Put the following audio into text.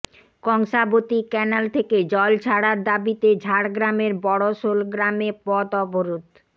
Kangsabati canal থেকে জল ছাড়ার দাবিতে ঝাড়গ্রামের বড়শোল গ্রামে পথ অবরোধ